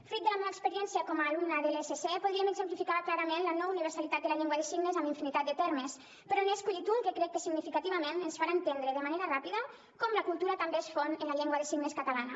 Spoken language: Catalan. fruit de la meua experiència com a alumna de lsc podríem exemplificar clarament la no universalitat de la llengua de signes amb infinitat de termes però n’he escollit un que crec que significativament ens farà entendre de manera ràpida com la cultura també es fon en la llengua de signes catalana